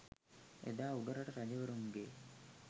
එදා උඩරට රජවරුන්ගේ